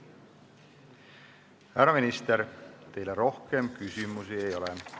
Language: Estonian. Härra minister, teile rohkem küsimusi ei ole.